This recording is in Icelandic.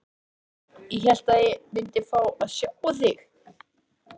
Ég hélt að ég myndi fá að sjá þig.